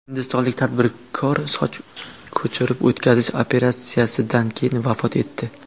Hindistonlik tadbirkor soch ko‘chirib o‘tkazish operatsiyasidan keyin vafot etdi.